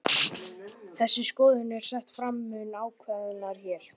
Þessi skoðun er sett fram mun ákveðnar hér.